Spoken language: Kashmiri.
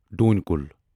ڈوٗنۍ کُل